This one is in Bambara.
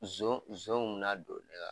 Nson nson kun bɛn'a don ne ka